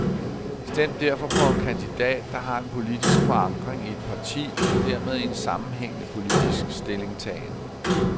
Stem derfor på en kandidat, der har en politisk forankring i et parti og dermed en sammenhængende politisk stillingtagen.